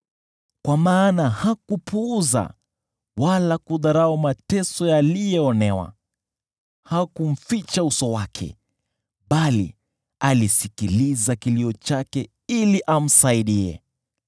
Kwa maana hakupuuza wala kudharau mateso ya aliyeonewa; hakumficha uso wake bali alisikiliza kilio chake ili amsaidie.